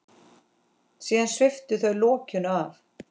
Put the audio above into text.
Síðan sviptu þau lokinu af.